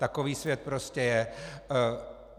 Takový svět prostě je.